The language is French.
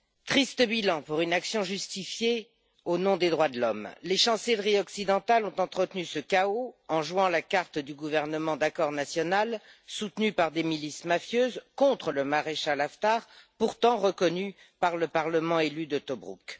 Triste bilan pour une action menée au nom des droits de l'homme! Les chancelleries occidentales ont entretenu ce chaos en jouant la carte du gouvernement d'entente nationale, soutenu par des milices mafieuses, contre le maréchal Haftar, pourtant reconnu par le parlement élu de Tobrouk.